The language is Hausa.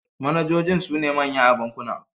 Manajojin sune manyan a bankuna.